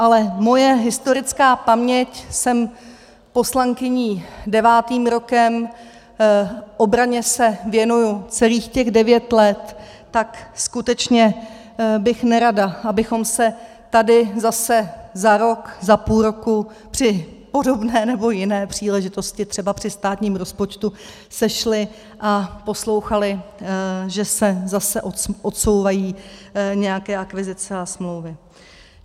Ale moje historická paměť - jsem poslankyní devátým rokem, obraně se věnuji celých těch devět let, tak skutečně bych nerada, abychom se tady zase za rok, za půl roku při podobné nebo jiné příležitosti, třeba při státním rozpočtu, sešli a poslouchali, že se zase odsouvají nějaké akvizice a smlouvy.